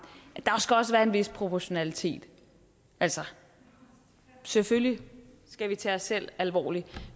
at en vis proportionalitet altså selvfølgelig skal vi tage os selv alvorligt